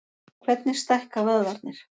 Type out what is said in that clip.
Hvernig stækka vöðvarnir?